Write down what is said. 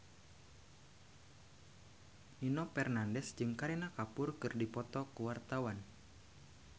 Nino Fernandez jeung Kareena Kapoor keur dipoto ku wartawan